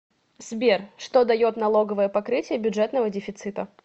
сбер что дает налоговое покрытие бюджетного дефицита